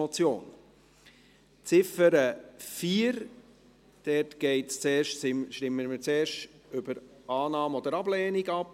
Bei der Ziffer 4 stimmen wir zuerst über Annahme oder Ablehnung ab.